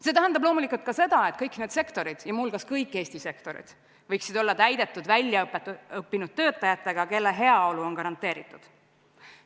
See tähendab loomulikult ka seda, et kõik need sektorid ja muuhulgas kõik Eesti sektorid, võiksid olla täidetud väljaõppinud töötajatega, kelle heaolu on garanteeritud.